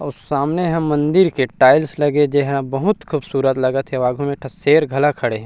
अउ सामने ह मंदिर के टाइल्स लगे जे हे बहुत खुबसुरसत लगत हे अउ आघो में एक ठो शेर घला खड़े हे।